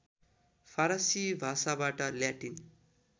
फारसी भाषाबाट ल्याटिन